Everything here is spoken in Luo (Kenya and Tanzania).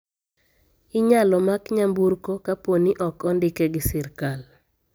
Inyalo mak nyamburko kaponi ok ondike gi sirkal.